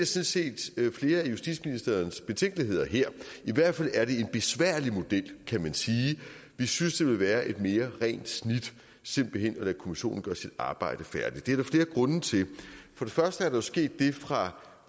set flere af justitsministerens betænkeligheder her i hvert fald er det en besværlig model kan man sige vi synes det vil være et mere rent snit simpelt hen at lade kommissionen gøre sit arbejde færdigt der er der flere grunde til for det første er der jo sket det fra